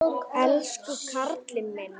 Elsku karlinn minn.